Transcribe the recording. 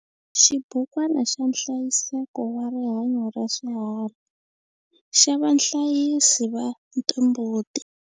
Xibukwana xa nhlayiseko wa rihanyo raswiharhi xa vahlayisi va timbuti.